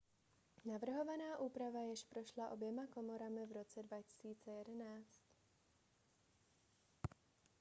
navrhovaná úprava již prošla oběma komorami v roce 2011